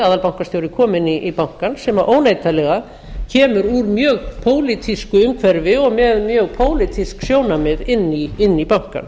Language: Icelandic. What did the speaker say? aðalbankastjóri kominn í bankann sem óneitanlega kemur úr mjög pólitísku umhverfi og með mjög pólitísk sjónarmið inn í bankann